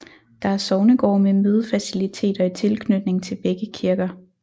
Der er sognegård med mødefaciliteter i tilknytning til begge kirker